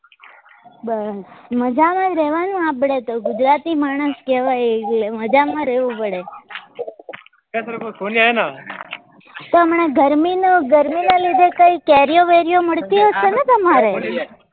બસ મજામાં જ રેવા નું આપડે તો ગુજરાતી માણસ કહેવાય એટલે મજામાં રેવું પડે તો હમણાં ગરમી નું ગરમી ના લીધે કઈ કેરીઓ વેરીઓ મળતી હશે ને તમારે